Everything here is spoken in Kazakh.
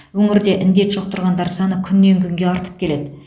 өңірде індет жұқтырғандар саны күннен күнге артып келеді